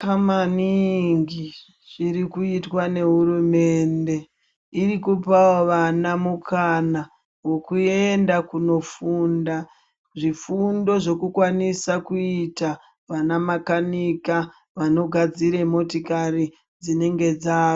Zvakanaka maningi zviri kutwa ngehurumende iri kupawo vana mukana wokuenda kunofunda zvifundo zvekukwanisa kuita anamakanika vanogadzira motokari dzinenge dzafa.